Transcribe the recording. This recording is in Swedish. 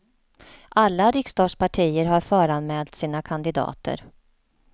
Alla riksdagspartier har föranmält sina kandidater.